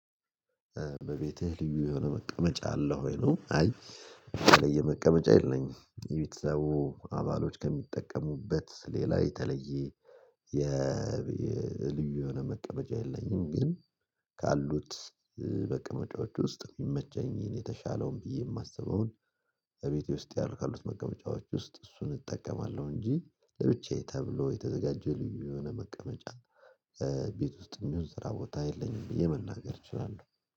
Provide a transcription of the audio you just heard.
በቤትህ ልዩ የሆነ መቀመጫ አለው ወይ ነው? አይ በተለየ መቀመጫ የለኝም የቤተሰቡ አባሎች ከሚጠቀሙበት ሌላ የተለየ የልዩ የሆነ መቀመጫ የለኝም። ግን ካሉት በቅምጫዎቹ ውስጥ የሚመቸኝን የተሻለውን ብዬ የማስበውን። እቤቴ ውስጥ ያልካሉት መቀበጫዎች ውስጥ እሱን እጠቀማለሁ እንጂ ለብቻዬ ተብሎ የተዘጋጀ የልዩ የሆነ መቀመጫ። ቤት ውስጥ የሚሆን ስራ ቦታ የለኝም ብዬ መናገር እችላለሁ